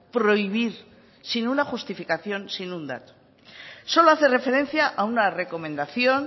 prohibir sin una justificación sin un dato solo hace referencia a una recomendación